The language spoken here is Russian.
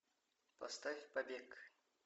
поставь побег